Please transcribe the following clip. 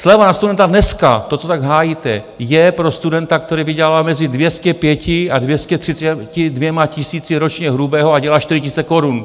Sleva na studenta dneska, to co tak hájíte, je pro studenta, který vydělává mezi 205 a 232 tisíci ročně hrubého a dělá 4 tisíce korun.